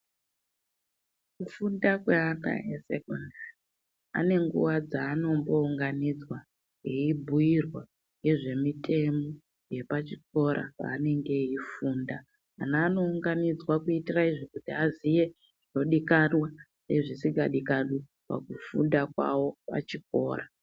Kufuunda kweana eSekondari qne nguwa dzaanombounganidzwa eibhuirwa ngezvemitemo yepachikora paanenge eifunda anounganidzwa kuitira izvi kuti aziye zvinodikanwa nezvisikadikanwi pakufunda kwawo pachikora.